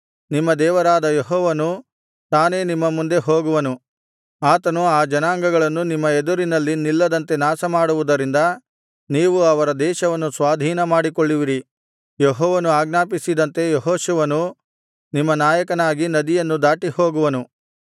ನಿಮ್ಮ ದೇವರಾದ ಯೆಹೋವನು ತಾನೇ ನಿಮ್ಮ ಮುಂದೆ ಹೋಗುವನು ಆತನು ಆ ಜನಾಂಗಗಳನ್ನು ನಿಮ್ಮ ಎದುರಿನಲ್ಲಿ ನಿಲ್ಲದಂತೆ ನಾಶಮಾಡುವುದರಿಂದ ನೀವು ಅವರ ದೇಶವನ್ನು ಸ್ವಾಧೀನಮಾಡಿಕೊಳ್ಳುವಿರಿ ಯೆಹೋವನು ಆಜ್ಞಾಪಿಸಿದಂತೆ ಯೆಹೋಶುವನು ನಿಮ್ಮ ನಾಯಕನಾಗಿ ನದಿಯನ್ನು ದಾಟಿಹೋಗುವನು